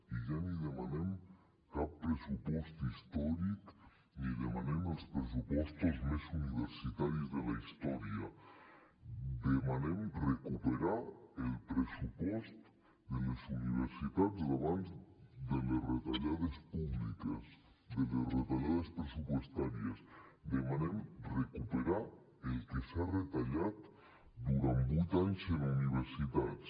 i ja ni demanem cap pressupost històric ni demanem els pressupostos més universitaris de la història demanem recuperar el pressupost de les universitats d’abans de les retallades públiques de les retallades pressupostàries demanem recuperar el que s’ha retallat durant vuit anys en universitats